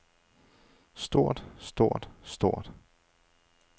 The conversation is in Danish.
stort stort stort